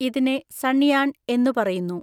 ഇതിനെ സൺയാൺ എന്നു പറയുന്നു.